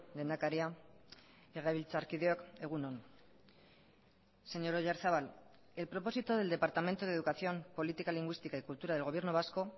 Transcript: lehendakaria legebiltzarkideok egun on señor oyarzabal el propósito del departamento de educación política lingüística y cultura del gobierno vasco